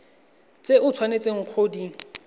tse o tshwanetseng go di